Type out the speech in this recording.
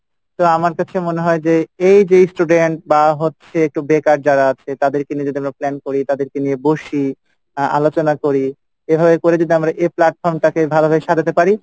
তো আমার কাছে মনে হয় যে এ যে student বা হচ্ছে একটু বেকার যারা আছে তাদেরকে নিয়ে যদি আমরা plan করি তাদেরকে নিয়ে বসি আহ আলোচনা করি এভাবে করে যদি আমরা এ platform টাকে ভালো করে সাজাতে পারি,